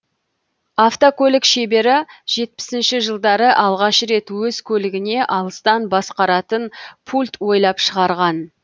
автокөлік шебері жетпісіінші жылдары алғаш рет өз көлігіне алыстан басқаратын пульт ойлап шығарған